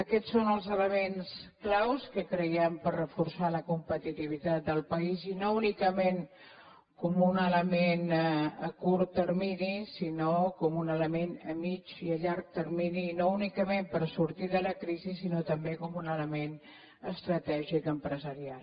aquests són els elements claus ho creiem per reforçar la competitivitat del país i no únicament com un element a curt termini sinó com un element a mig i a llarg termini i no únicament per sortir de la crisi sinó també com un element estratègic empresarial